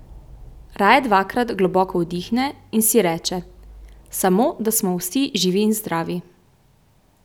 Raje dvakrat globoko vdihne in si reče: 'Samo, da smo vsi živi in zdravi.